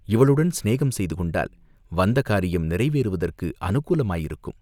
இவளுடன் சிநேகம் செய்து கொண்டால் வந்த காரியம் நிறைவேறுவதற்கு அநுகூலமாயிருக்கும்.